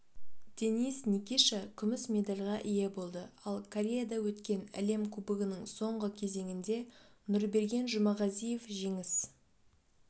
денис никиша күміс медальға ие болды ал кореяда өткен әлем кубогының соңғы кезеңінде нұрберген жұмағазиев жеңіс